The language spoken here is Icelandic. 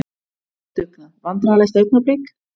Vinnusemi og dugnað Vandræðalegasta augnablik?